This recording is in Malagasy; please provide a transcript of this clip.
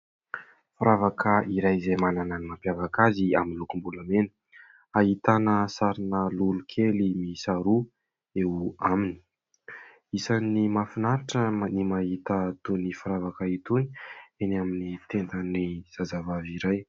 Firavaka iray izay manana ny mampiavaka azy amin'ny lokom-bolamena, ahitana sarina lolo kely miisa roa eo aminy. Isany mahafinaritra ny mahita itony firavaka itony eny amin'ny tendan'ny zazavavy iray.